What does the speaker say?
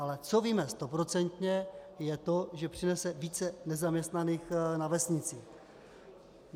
Ale co víme stoprocentně, je to, že přinese více nezaměstnaných na vesnici.